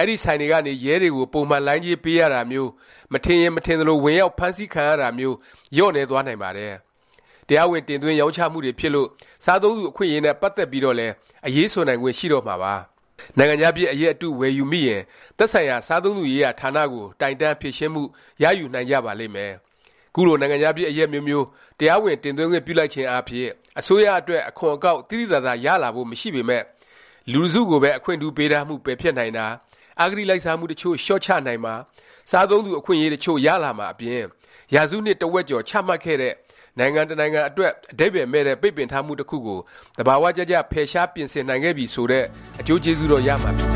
၊ အဲဒီဆိုင်တွေကနေ ရဲတွေကို ပုံမှန်လိုင်းကြေး ပေးရတာမျိုး၊ မထင်ရင် မထင်သလို ဝင်ရောက် ဖမ်းဆီးခံရတာမျိုး လျော့နည်းသွားနိုင်ပါတယ်။ တရားဝင် တင်သွင်း၊ ရောင်းချမှုတွေ ဖြစ်လို့ စားသုံးသူ အခွင့်အရေးနဲ့ ပတ်သက်ပြီးတော့လည်း အရေးဆိုနိုင်ခွင့် ရှိတော့မှာပါ။ နိုင်ငံခြားဖြစ် အရက်အတု ဝယ်ယူမိရင် သက်ဆိုင်ရာ စားသုံးသူရေးရာ ဌာနကို တိုင်တန်း၊ ဖြေရှင်းမှု ရယူနိုင်ကြပါလိမ့်မယ်။ ခုလို နိုင်ငံခြားဖြစ် အရက်အမျိုးမျိုး တရားဝင် တင်သွင်းခွင့် ပြုလိုက်ခြင်းအားဖြင့် အစိုးရအတွက် အခွန်အကောက် သိသိသာသာ ရလာဖို့ မရှိပေမယ့် လူတစ်စုကိုပဲ အခွင့်ထူးပေးထားမှု ပယ်ဖျက်နိုင်တာ၊ အဂတိလိုက်စားမှု တစ်ချို့ လျော့ချနိုင်မှာ၊ စားသုံးသူ အခွင့်အရေး တစ်ချို့ ရလာမှာ အပြင်၊ ရာစုနှစ် တစ်ဝက်ကျော် ချမှတ်ခဲ့တဲ့၊ နိုင်ငံတစ်နိုင်ငံ အတွက် အဓိပ္ပါယ်မဲ့တဲ့ ပိတ်ပင်ထားမှု တစ်ခုကို သဘာ၀ ကျကျ ဖယ်ရှား ပြင်ဆင်နိုင်ခဲ့ပြီ ဆိုတဲ့ အကျိုးကျေးဇူးတော့ ရမှာ ဖြစ်ကြ